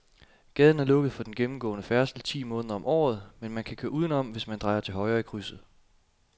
Gaden er lukket for gennemgående færdsel ti måneder om året, men man kan køre udenom, hvis man drejer til højre i krydset.